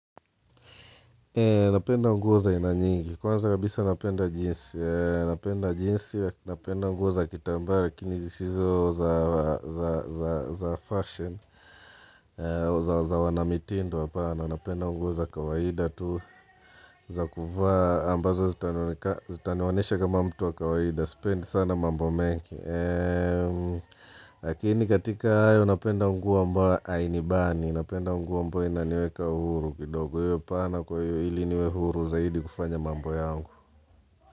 Napenda nguo za aina nyingi, kwanza kabisa napenda jeans, napenda jeans napenda nguo za kitambaa lakini zisizo za za fashion, za wanamitindo hapana, napenda nguo za kawaida tu, za kuvaa ambazo zitaniweka zitanionyesha kama mtu wa kawaida, sipendi sana mambo mengi. Lakini katika hayo napenda nguo ambayo hainibani Napenda nguo ambayo inaniweka huru kidogo hapana kwa hio ili niwe huru zaidi kufanya mambo yangu.